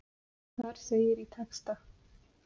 Þar segir í texta.